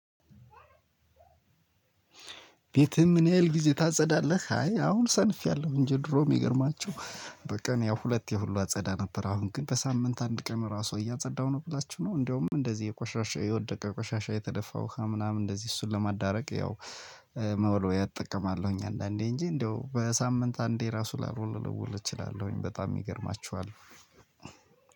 ቤትህን ምን ያህል ጊዜ ታጸዳለህ? አይ አሁን ሰንፌያለሁ እንጂ ድሮ የሚገርማችሁ በቀን ያው ሁለቴ ሁሉ አጸዳ ነበር አሁን ግን በሳምንት አንድ ቀን ራሱ እያጸዳሁ ነው። ብላችሁ ነው እንደውም እንደዚህ የቆሻሻ የወደቀ ቆሻሻ የተደፋ ውሃ ምናምን እንደዚህ እሱን ለማዳረቅ ያው መወልወያ እጠቀማለሁኝ አንዳንዴ እንጂ እንደው በሳምንት አንዴ ራሱ ላልወለውል እችላለሁኝ በጣም ይገርማችኋል።